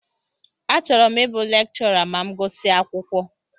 Achọrọ m ịbụ lekchọra ma m gusia akwụkwọ.